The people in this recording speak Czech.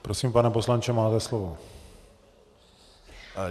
Prosím, pane poslanče, máte slovo.